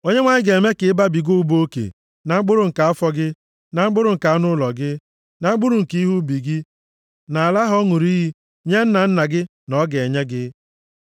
+ 28:11 \+xt Dit 30:9\+xt* Onyenwe anyị ga-eme ka ị babiga ụba oke na mkpụrụ nke afọ gị, na mkpụrụ nke anụ ụlọ gị, na mkpụrụ nke ihe ubi gị, nʼala ahụ ọ ṅụrụ nʼiyi nye nna nna gị na ọ ga-enye gị.